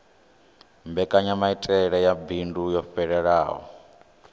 mbekanyamaitele ya bindu yo fhelelaho